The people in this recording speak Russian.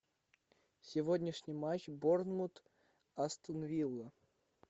сегодняшний матч борнмут астон вилла